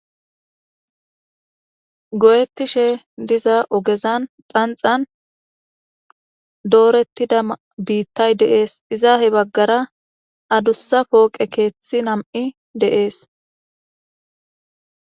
Go'ettishe diza ogezan xanxan doorettida biittay deees izaahe baggara adussa pooqe keeththi nam'i deees.